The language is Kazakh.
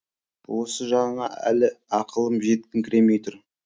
осы жағына әлі ақылым жетіңкіремей тұр